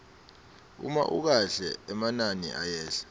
uma ukahle emanani ayehla